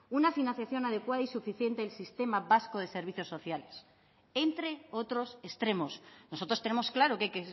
una financiación adecuada y suficiente del sistema vasco de servicios sociales entre otros extremos nosotros tenemos claro que hay